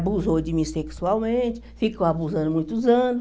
Abusou de mim sexualmente, ficou abusando muitos anos.